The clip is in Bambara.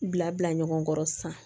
Bila bila ɲɔgɔn kɔrɔ sisan